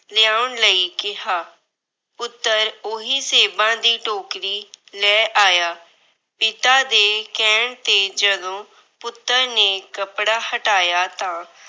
ਲਿਆਉਣ ਲਈ ਕਿਹਾ। ਪੁੱਤਰ ਉਹੀ ਸੇਬਾਂ ਦੀ ਟੋਕਰੀ ਲੈ ਆਇਆ। ਪਿਤਾ ਦੇ ਕਹਿਣ ਤੇ ਜਦੋਂ ਪੁੱਤਰ ਨੇ ਕੱਪੜਾ ਹਟਾਇਆ ਤਾਂ